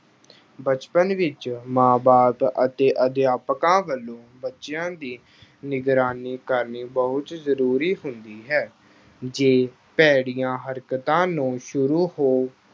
ਬਚਪਨ ਵਿੱਚ ਮਾਂ ਬਾਪ ਅਤੇ ਅਧਿਆਪਕਾਂ ਵੱਲੋਂ ਬੱਚਿਆਂ ਦੀ ਨਿਗਰਾਨੀ ਕਰਨੀ ਬਹੁਤ ਜ਼ਰੂਰੀ ਹੁੰਦੀ ਹੈ, ਜੇ ਭੈੜੀਆਂ ਹਰਕਤਾਂ ਨੂੰ ਸ਼ੁਰੂ ਹੋ